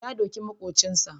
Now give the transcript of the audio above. Ya doki maƙocinsa.